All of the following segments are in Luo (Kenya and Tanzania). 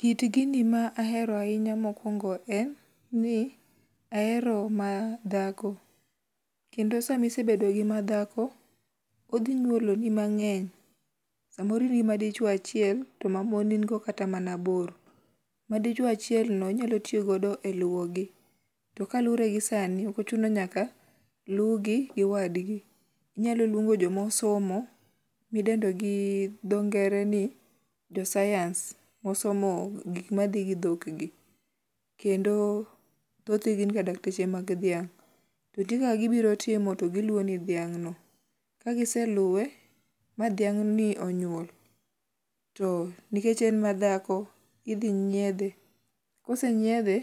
kit gini ma ahero ahinya mokuongo en ni ahero madhako, kendo sama isebedo gi madhako, odhi nyuolo ni mang'eny samoro in gi madichuo achiel to ma mon in go kata mana aboro, ma dichuo achiel no inyalo tiyo go kata e luwo gi ,to kaluwore gi sani ok ochuno ni nyaka lugi gi wadgi inyalo luongo jomo somo miluongo gi dho ngere ni jo science mosomo gik modhi gi dhok gi kendo thoth gi gin ga dakteche mag dhiang kendo ka gibirotimo to giluwo ni dhiang no ,ka giseluwe ma dhiang no onyuol to nikech en madhako idhi nyiedhi ,kose nyiedhe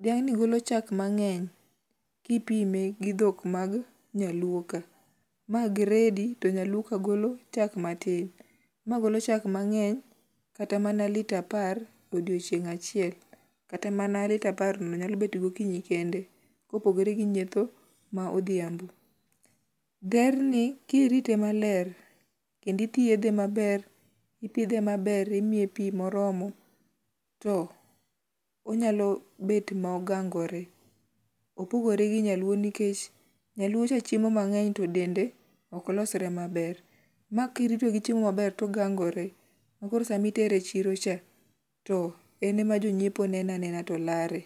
dhiang ni golo chak mang'eny, kipime gi dhok mag nyaluo ka ,ma gredi to nyaluo ka golo chak matin ma golo chak mangeny kata mana litre apar odiochieng achiel kata mana litre apar no nyalo bet gokinyi kende kopogre gimoo modhiambo. Dherni kirite maber kendo ithiedhe maber, ipdhe maber imiye pi moromo to onyalo bet mogangore, opogore gi nyaluo nikech nyaluo cha chiemo mang'eny to dende ok losre maber ,makirito gi chiemo maber togangore koro sami tere chiro cha to en ema jonyiepo ne ne anena to lare.